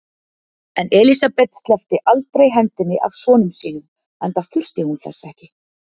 En Elsabet sleppti aldrei hendinni af sonum sínum, enda þurfti hún þess ekki.